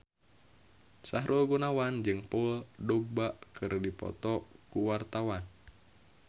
Sahrul Gunawan jeung Paul Dogba keur dipoto ku wartawan